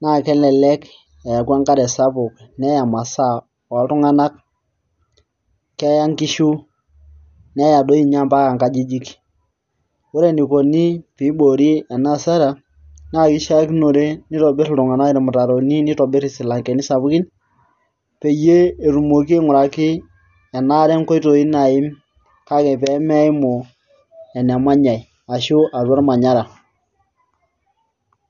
na kelelek eeku enkare sapuk neerr imasaa oltung'anak naa keya nkishu neya toi ninye mpaka nkajijik ore enikoni pee iboori ena hasara naa kishiakinore nitobirr iltunganak irmutaroni nitobirr isilankeni sapukin peyie etumoki aing'uraki ena are nkoitoi naaim kake pee meimu enemanyai ashu atua ormanyara.